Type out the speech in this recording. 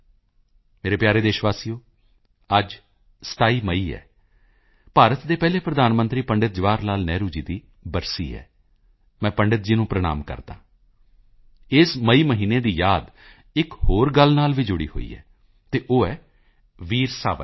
ਮੇਰੇ ਪਿਆਰੇ ਦੇਸ਼ ਵਾਸੀਓ ਅੱਜ 27 ਮਈ ਹੈ ਭਾਰਤ ਦੇ ਪਹਿਲੇ ਪ੍ਰਧਾਨ ਮੰਤਰੀ ਪੰਡਿਤ ਜਵਾਹਰ ਲਾਲ ਨਹਿਰੂ ਜੀ ਦੀ ਬਰਸੀ ਹੈ ਮੈਂ ਪੰਡਿਤ ਜੀ ਨੂੰ ਪ੍ਰਣਾਮ ਕਰਦਾ ਹਾਂ ਇਸ ਮਈ ਮਹੀਨੇ ਦੀ ਯਾਦ ਇੱਕ ਹੋਰ ਗੱਲ ਨਾਲ ਵੀ ਜੁੜੀ ਹੋਈ ਹੈ ਅਤੇ ਉਹ ਹੈ ਵੀਰ ਸਾਵਰਕਰ